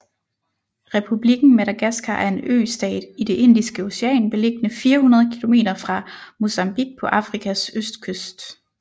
Republikken Madagaskar er en østat i det Indiske Ocean beliggende 400 kilometer fra Mozambique på Afrikas østkyst